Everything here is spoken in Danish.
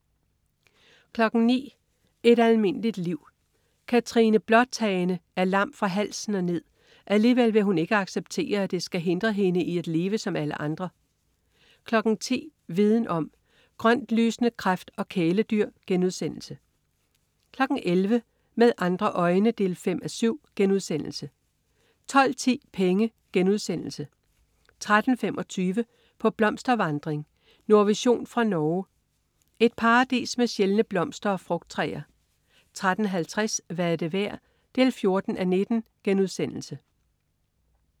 09.00 Et almindeligt liv. Katrine Bråtane er lam fra halsen og ned, og alligevel vil hun ikke acceptere, at det skal hindre hende i at leve som alle andre 10.00 Viden om: Grøntlysende kræft og kæledyr* 11.00 Med andre øjne 5:7* 12.10 Penge* 13.25 På blomstervandring. Nordvision fra Norge. Et paradis med sjældne blomster og frugttræer 13.50 Hvad er det værd? 14:19*